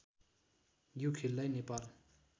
यो खेललाई नेपाल